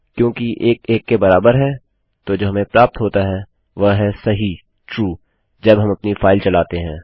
क्योंकि 1 1 के बराबर है तो जो हमें प्राप्त होता है वह है सही जब हम अपनी फाइल चलाते हैं